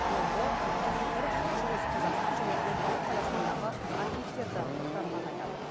омбы новосібір шығыс қазақстан және орталық қазақстандағы архивтерді ақтарғанын айтады